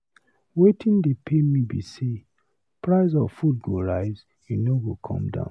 Wetin dey pain me be sey price of food go rise e no go come down.